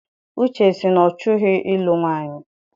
Uche sị na ọ chọghị ilu nwaanyị.